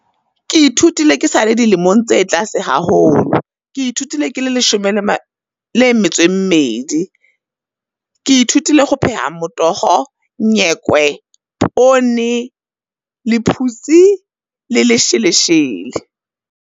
Ke ithutile ke sa le dilemong tse tlase haholo. Ke ithutile ke le leshome le le metso e mmedi, ke ithutile ho pheha motoho, nyekwe, poone, lephutse le lesheleshele.